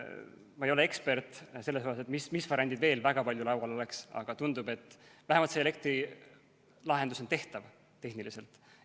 Ma ei ole ekspert ega oska öelda, mis variandid veel oleks, aga tundub, et elektrilahendus on vähemalt tehniliselt tehtav.